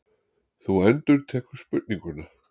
Þú endurtekur spurninguna.